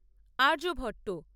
Aryabhata